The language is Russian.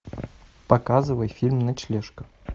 показывай фильм ночлежка